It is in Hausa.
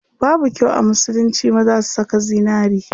Babu kyau a musulunci maza su saka zinari.